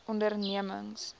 ondernemings